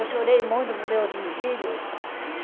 Eu chorei muito por meus filhos.